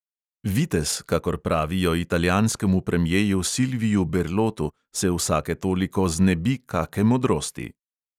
Vitez, kakor pravijo italijanskemu premjeju silviu berlotu, se vsake toliko znebi kake modrosti.